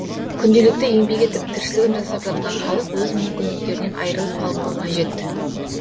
күнделікті еңбек етіп тіршілігін жасап жатқан халық өз мүмкіндіктерінен айырылып қалмауы қажет